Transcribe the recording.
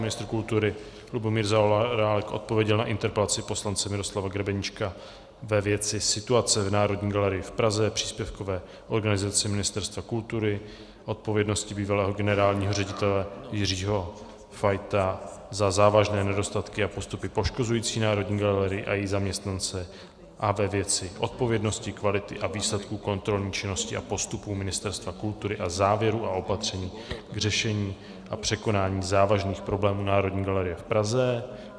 Ministr kultury Lubomír Zaorálek odpověděl na interpelaci poslance Miroslava Grebeníčka ve věci situace v Národní galerii v Praze, příspěvkové organizaci Ministerstva kultury, odpovědnosti bývalého generálního ředitele Jiřího Fajta za závažné nedostatky a postupy poškozující Národní galerii a její zaměstnance a ve věci odpovědnosti, kvality a výsledků kontrolní činnosti a postupů Ministerstva kultury a závěrů a opatření k řešení a překonání závažných problémů Národní galerie v Praze.